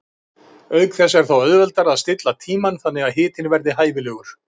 Auk þess er þá auðveldara að stilla tímann þannig að hitinn verði hæfilegur.